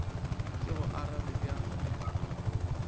ke go arabe bjang fela